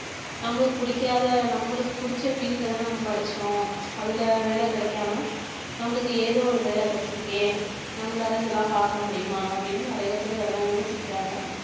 நம்மளுக்கு பிடிக்காத நம்மளுக்கு பிடிச்ச field அ தானே நம்ம படிச்சோம் அதுல வேலை கிடைக்காம நம்மளுக்கு ஏதோ ஒரு வேலை கிடைச்சிருக்கே நம்மளால இதெல்லாம் பார்க்க முடியுமா அப்படின்னு நிறைய பேர் இதெல்லாம் யோசிக்கிறாங்க